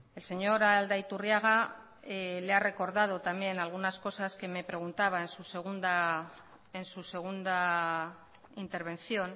el señor aldaiturriaga le ha recordado también algunas cosas que me preguntaba en su segunda intervención